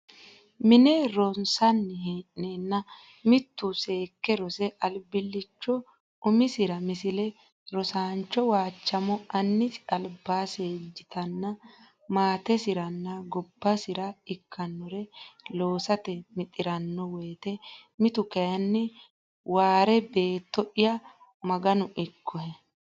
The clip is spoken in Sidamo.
mine ronsanni hee neenna mitu seekke rose albiilliicho umisira Misile Rosiisaancho Waachamo annisi alba seejjitanna maatesira nna gobbasi ra ikkannore loosate mixi ranno wote mitu kayinni Waare Beetto ya Maganu ikkohe !